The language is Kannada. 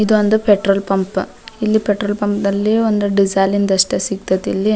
ಇದೊಂದು ಪೆಟ್ರೋಲ್ ಪಂಪ್ ಇಲ್ಲಿ ಪೆಟ್ರೋಲ್ ಪಂಪ್ ದಲ್ಲಿ ಒಂದು ಡಿಸೇಲ್ ದಷ್ಟೆ ಸಿಗ್ತದ್ ಇಲ್ಲಿ .